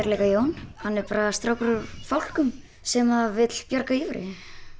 leika Jón hann er bara strákur úr sem vill bjarga Ívari